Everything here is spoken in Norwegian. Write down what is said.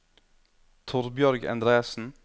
Torbjørg Endresen